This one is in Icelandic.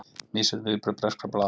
Misjöfn viðbrögð breskra blaða